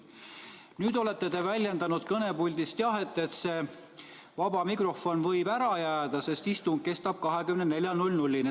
Nüüd olete te väljendanud kõnepuldist, et see vaba mikrofon võib ära jääda, sest istung kestab 24-ni.